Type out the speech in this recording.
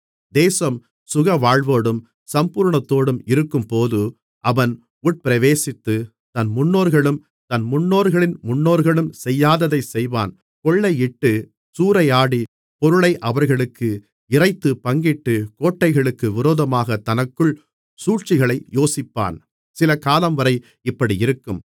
தேசம் சுகவாழ்வோடும் சம்பூரணத்தோடும் இருக்கும்போது அவன் உட்பிரவேசித்து தன் முன்னோர்களும் தன் முன்னோர்களின் முன்னோர்களும் செய்யாததைச் செய்வான் கொள்ளையிட்டுச் சூறையாடி பொருளை அவர்களுக்கு இறைத்துப் பங்கிட்டு கோட்டைகளுக்கு விரோதமாகத் தனக்குள் சூழ்ச்சிகளை யோசிப்பான் சிலகாலம்வரை இப்படியிருக்கும்